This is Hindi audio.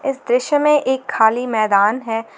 इस दृश्य में एक खाली मैदान है।